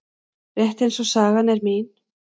Rétt eins og sagan er mín.